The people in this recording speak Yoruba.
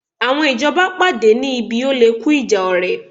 Àwọn ìjọba pàdé ní ibi oléku ìjà ọ̀rẹ̀